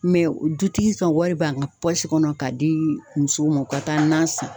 dutigi ka wari bɔ a ka kɔnɔ ka di musow ma u ka taa nan san!